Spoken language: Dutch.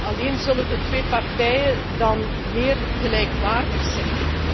Alleen zullen de twee partijen dan meer gelijkwaardig zijn.